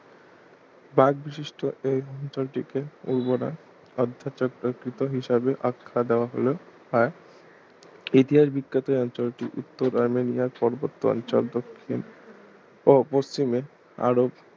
pipe বিশিষ্ট এই নদীটার দিকে উর্বরা অর্ধচক্রাকৃত হিসেবে আখ্যা দেওয়া হল আর ইতিহাস বিখ্যাত এই অঞ্চল টি উত্তর আর্মেনিয়ান পার্বত্য অঞ্চল দক্ষিণ ও পশ্চিমে আরব